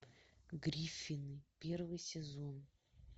гриффины первый сезон